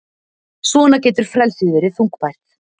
Svona getur frelsið verið þungbært.